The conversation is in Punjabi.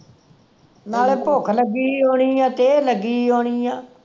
ਨਾਲੇ ਭੁੱਖ ਲਗੀ ਹੋਣੀ ਆ ਤੇਹ ਲੱਗੀ ਹੋਣੀ ਆ